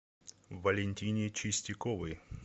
валентине чистяковой